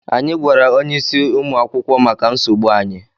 Anyị gwara onyeisi ụmụ akwụkwọ maka nsogbu anyị.